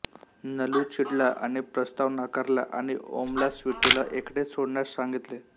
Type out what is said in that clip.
नलू चिडला आणि प्रस्ताव नाकारला आणि ओमला स्वीटूला एकटे सोडण्यास सांगितले